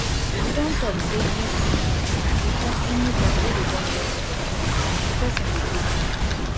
we don talk say if um we catch anybody wey dey burn anything for dis compound the person go pay fine